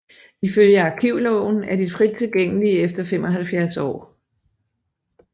Ifølge arkivloven er de frit tilgængelige efter 75 år